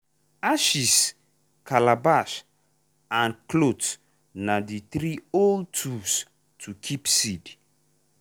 ashes calabash and cloth na the three old tools to keep seed.